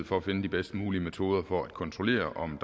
for at finde de bedst mulige metoder for at kontrollere om